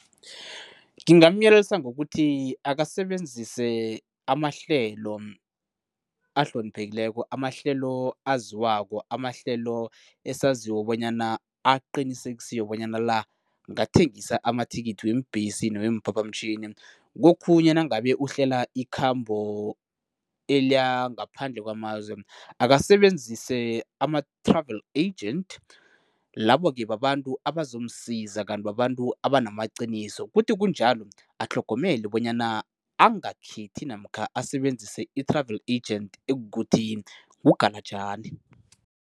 Ngingamyelelisa ngokuthi akasebenzise amahlelo ahloniphekileko, amahlelo aziwako, amahlelo esaziko bonyana aqinisekisiwe bonyana la ngathengisa amathikithi weembesi noweemphaphamtjhini. Kokhunye nangabe uhlela ikhambo eliyangaphandle kwamazwe, akasebenzise ama-travel agent, labo-ke babantu abazomsiza kanti babantu abanamaqiniso. Kuthi kunjalo atlhogomele bonyana angakhethi namkha asebenzise i-travel agent ekukuthi ngugalajani.